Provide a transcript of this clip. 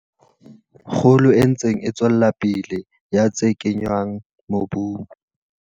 Kgolo e ntseng e tswela pele ya tse kenngwang mobung.